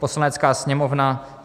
"Poslanecká sněmovna